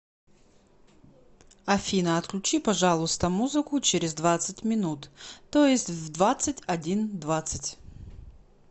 афина отключи пожалуйста музыку через двадцать минут то есть в двадцать один двадцать